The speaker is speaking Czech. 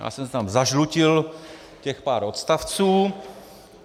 Já jsem si tam zažlutil těch pár odstavců.